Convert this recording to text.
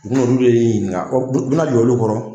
U bina olu de ɲininka u bina jɔ olu kɔrɔ